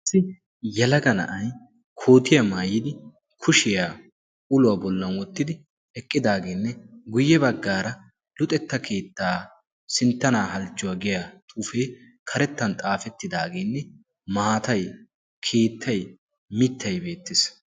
yalaga na'ay kootiyaa maayidi kushiyaa uluwaa bollan wottidi eqqidaageenne guyye baggaara luxetta kiittaa sinttanaa halchchuwaa geya xuufee karettan xaafettidaageenne maatay kiittyi mittay beettees